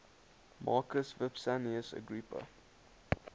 marcus vipsanius agrippa